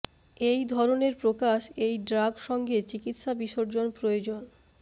এই ধরনের প্রকাশ এই ড্রাগ সঙ্গে চিকিত্সা বিসর্জন প্রয়োজন